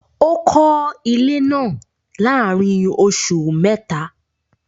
Ó kọ́ ilé náà láàárín oṣù mẹ́ta